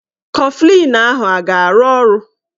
Kọflịn ahụ a ga-arụ ọrụ?